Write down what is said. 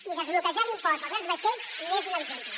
i desbloquejar l’impost dels grans vaixells n’és un exemple